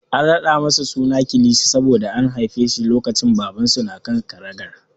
An raɗa masa suna Kilishi saboda an haife shi lokacin da Babansa na kan karagar.